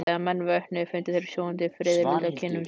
Þegar menn vöknuðu fundu þeir sofandi fiðrildi á kinnum sínum.